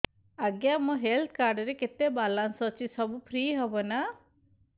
ଆଜ୍ଞା ମୋ health card ରେ କେତେ ବାଲାନ୍ସ ଅଛି ସବୁ ଫ୍ରି ହବ ନାଁ